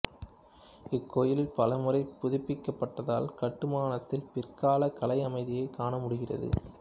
இக்கோயில் பல முறை புதுப்பிக்கப்பட்டதால் கட்டுமானத்தில் பிற்காலக் கலை அமைதியைக் காணமுடிகிறது